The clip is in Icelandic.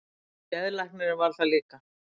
Geðlæknirinn varð það líka.